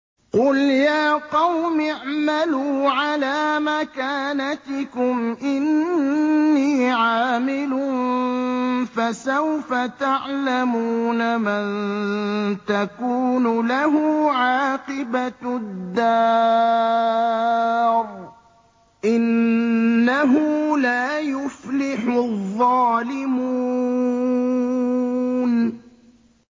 قُلْ يَا قَوْمِ اعْمَلُوا عَلَىٰ مَكَانَتِكُمْ إِنِّي عَامِلٌ ۖ فَسَوْفَ تَعْلَمُونَ مَن تَكُونُ لَهُ عَاقِبَةُ الدَّارِ ۗ إِنَّهُ لَا يُفْلِحُ الظَّالِمُونَ